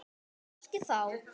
Kannski þá.